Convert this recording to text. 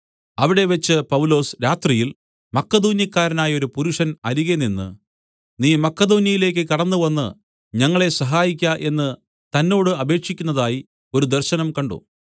അവിടെവച്ച് പൗലൊസ് രാത്രിയിൽ മക്കെദോന്യക്കാരനായൊരു പുരുഷൻ അരികെ നിന്ന് നീ മക്കെദോന്യെയിലേക്ക് കടന്നുവന്ന് ഞങ്ങളെ സഹായിക്ക എന്നു തന്നോട് അപേക്ഷിക്കുന്നതായി ഒരു ദർശനം കണ്ട്